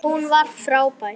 Hún var frábær.